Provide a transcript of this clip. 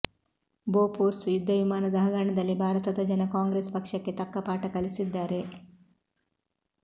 Bofors ಯುದ್ದವಿಮಾನದ ಹಗರಣದಲ್ಲಿ ಭಾರತದ ಜನ ಕಾಂಗ್ರೆಸ್ ಪಕ್ಷಕ್ಕೆ ತಕ್ಕ ಪಾಠ ಕಲಿಸಿದ್ದಾರೆ